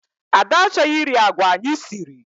Ada achọghị iri agwa anyị siri.